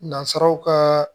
Nazaraw kaa